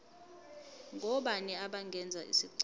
ngobani abangenza isicelo